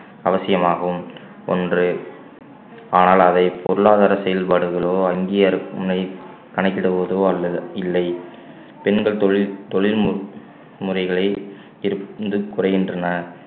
அவசியமாகும் ஒன்றறே ஆனால் அதை பொருளாதார செயல்பாடுகளோ அங்கீகரி~ முனை~ கணக்கிடுவதோ அல்லது இல்லை பெண்கள் தொழில் தொழில் மு~ முறைகளை திரு~ குறைகின்றன